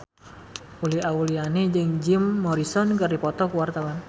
Uli Auliani jeung Jim Morrison keur dipoto ku wartawan